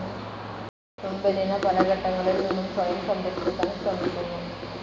Thumbelina പല ഘട്ടങ്ങളിൽ നിന്നും സ്വയം സംരക്ഷിക്കാൻ ശ്രമിക്കുന്നു.